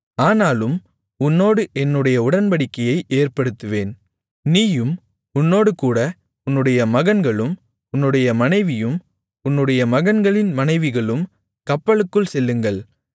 ஆனாலும் உன்னோடு என்னுடைய உடன்படிக்கையை ஏற்படுத்துவேன் நீயும் உன்னோடுகூட உன்னுடைய மகன்களும் உன்னுடைய மனைவியும் உன்னுடைய மகன்களின் மனைவிகளும் கப்பலுக்குள் செல்லுங்கள்